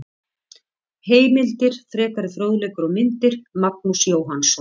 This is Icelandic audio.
Heimildir, frekari fróðleikur og myndir: Magnús Jóhannsson.